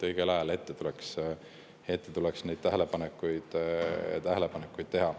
Tähelepanekuid tuleks teha õigel ajal.